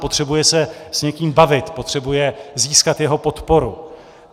Potřebuje se s někým bavit, potřebuje získat jeho podporu.